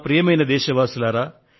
ప్రియమైన నా దేశ వాసులారా